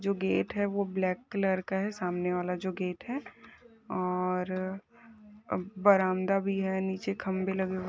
जो गेट है वो ब्लैक का है सामने वाला जो गेट है और बरामदा भी है नीचे खंभे लगे हुए--